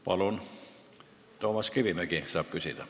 Palun, Toomas Kivimägi saab küsida.